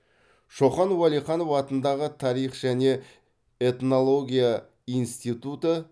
шоқан уәлиханов атындағы тарих және этнология институты